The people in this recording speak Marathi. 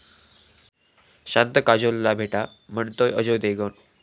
शांत काजोलला भेटा, म्हणतोय अजय देवगण!